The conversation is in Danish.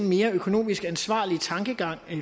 mere økonomisk ansvarlig tankegang